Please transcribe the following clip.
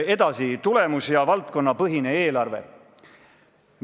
Edasi, tulemus- ja valdkonnapõhine eelarve.